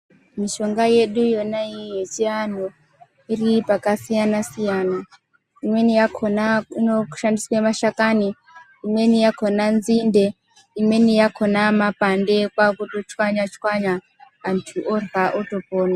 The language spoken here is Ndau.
Mishonga yedu yona iyi yechianhu iri pakasiyana-siyana. Imweni yakhona inoshandiswe mashakani, imweni yakhona nzinde imweni yakhona mapande kwakutochwanya-chwanya antu orya kwakutopona.